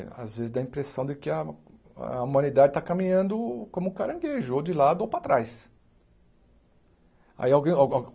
Às vezes dá a impressão de que a a humanidade está caminhando como o caranguejo, de lado ou para trás. Aí alguém al algo